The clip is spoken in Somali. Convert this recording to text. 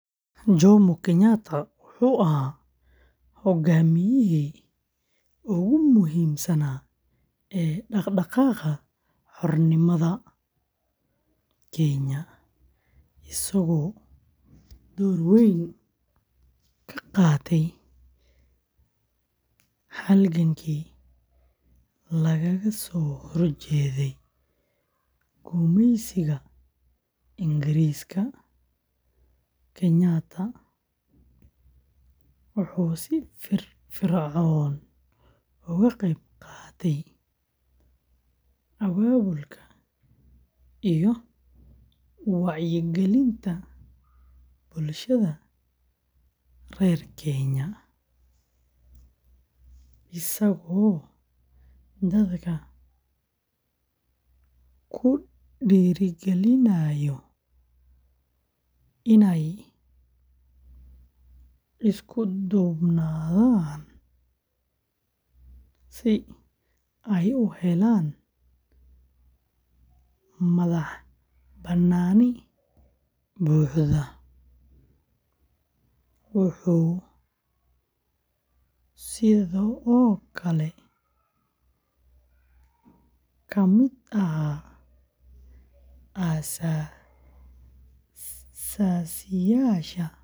Jomo Kenyatta wuxuu ahaa hogaamiyihii ugu muhiimsanaa ee dhaqdhaqaaqa xornimada Kenya, isagoo door weyn ka qaatay halgankii lagaga soo horjeeday gumeysiga Ingiriiska. Kenyatta wuxuu si firfircoon uga qaybqaatay abaabulka iyo wacyigelinta bulshada reer Kenya, isagoo dadka ku dhiirrigeliyay inay isku duubnaadaan si ay u helaan madax-bannaani buuxda. Wuxuu sidoo kale ka mid ahaa aas-aasayaashii ururka.